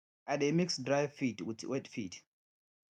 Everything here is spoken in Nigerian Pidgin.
i dey mix dry feed with wet feed